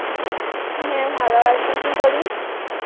হ্যাঁ ভালো আছি. কি করিস?